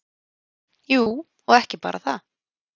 Jú, og ekki bara það.